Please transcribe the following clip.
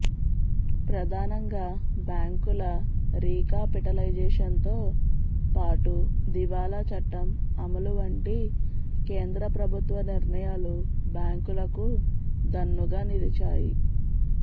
ప్రధానంగా బ్యాంకుల రీకాపిటలైజేషన్ తో పాటు దివాళా చట్టం అమలు వంటి కేంద్ర ప్రభుత్వ నిర్ణయాలు బ్యాంకులకు దన్నుగా నిలిచాయి